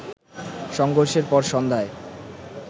সংঘর্ষের পর সন্ধ্যায়